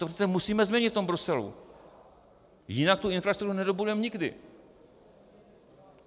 To přece musíme změnit v tom Bruselu, jinak tu infrastrukturu nedobudujeme nikdy.